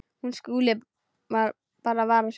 Hún skuli bara vara sig.